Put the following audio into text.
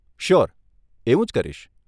Sure, એવું જ કરીશ.